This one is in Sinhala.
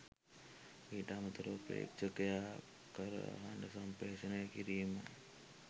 ඊට අමතරව ප්‍රේක්ෂකයා කරා හඬ සම්ප්‍රේෂණය කිරීම